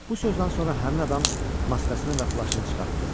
Bu sözdən sonra həmin adam maskasını və plaşını çıxartdı.